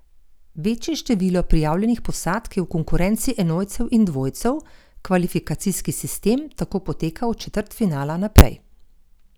Večje število prijavljenih posadk je v konkurenci enojcev in dvojcev, kvalifikacijski sistem tako poteka od četrtfinala naprej.